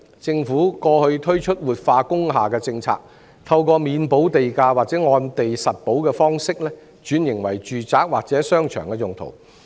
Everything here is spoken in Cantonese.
政府過去推出活化工廈政策，透過免補地價或按地實補的方式，轉型為住宅或商場用途。